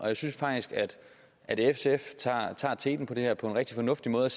jeg synes faktisk at sf tager teten i det her på en rigtig fornuftig måde